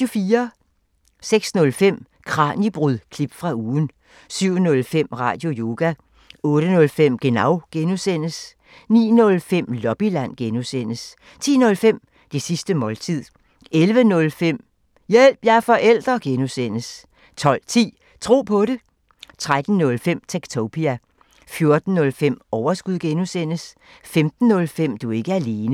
06:05: Kraniebrud – klip fra ugen 07:05: Radioyoga 08:05: Genau (G) 09:05: Lobbyland (G) 10:05: Det sidste måltid 11:05: Hjælp – jeg er forælder! (G) 12:10: Tro på det 13:05: Techtopia 14:05: Overskud (G) 15:05: Du er ikke alene